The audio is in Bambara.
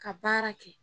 Ka baara kɛ